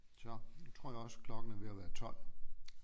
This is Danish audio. Så nu tror jeg også klokken er ved at være 12